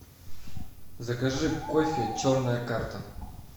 закажи кофе черная карта